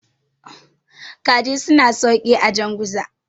kajin suna sauki a janguza